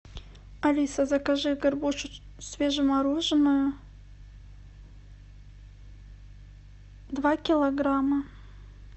алиса закажи горбушу свежемороженую два килограмма